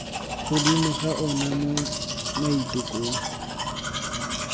godimo ga ona mo maitekong